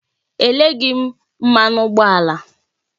E leghị m mmanụ ụgbọ ala